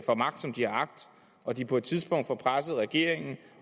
får magt som de har agt og de på et tidspunkt får presset regeringen